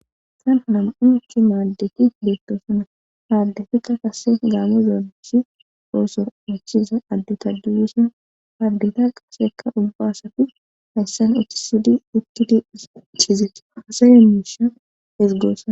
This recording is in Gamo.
tan hanam7u uchi maaddeki beettoosana aaddekika kase gaamo zeonosi oosor uchiza adde taduyusan hardeta qaseka ubbaassapfi hayssan oohtisidi ukkidi chiizetti asaye miisha esgoossona